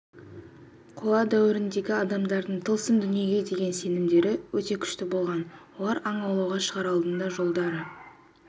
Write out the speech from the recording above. қола дәуіріндегі адамдардың тылсым дүниеге деген сенімдері өте күшті болған олар аң аулауға шығар алдында жолдары